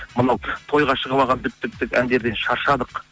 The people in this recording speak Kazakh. мынау тойға шығып алған дік дік дік әндерден шаршадық